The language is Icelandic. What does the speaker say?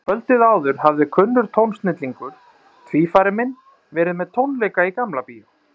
Kvöldið áður hafði kunnur tónsnillingur, tvífari minn, verið með tónleika í Gamla Bíó.